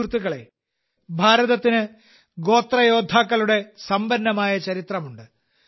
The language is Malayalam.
സുഹൃത്തുക്കളേ ഭാരതത്തിന് ഗോത്ര യോദ്ധാക്കളുടെ സമ്പന്നമായ ചരിത്രമുണ്ട്